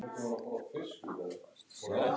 Björg og Ágúst skildu.